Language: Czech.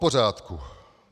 Popořádku.